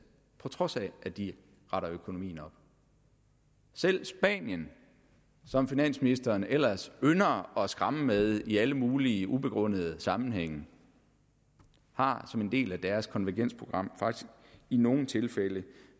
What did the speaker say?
på trods af at de retter økonomien op selv spanien som finansministeren ellers ynder at skræmme med i alle mulige ubegrundede sammenhænge har som en del af deres konvergensprogram faktisk i nogle tilfælde